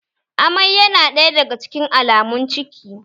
Amai ya na ɗaya daga cikin alamun ciki